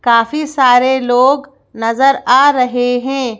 काफ़ी सारे लोग नजर आ रहे हैं।